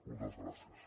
moltes gràcies